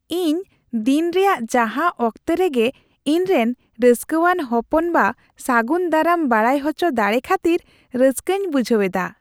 ᱤᱧ ᱫᱤᱱ ᱨᱮᱭᱟᱜ ᱡᱟᱦᱟᱸ ᱚᱠᱛᱚ ᱨᱮᱜᱮ ᱤᱧᱨᱮᱱ ᱨᱟᱹᱥᱠᱟᱹᱣᱟᱱ ᱦᱚᱯᱚᱱᱵᱟ ᱥᱟᱹᱜᱩᱱ ᱫᱟᱨᱟᱢ ᱵᱟᱲᱟᱭ ᱦᱚᱪᱚ ᱫᱟᱲᱮ ᱠᱷᱟᱹᱛᱤᱨ ᱨᱟᱹᱥᱠᱟᱹᱧ ᱵᱩᱡᱷᱟᱹᱣ ᱮᱫᱟ ᱾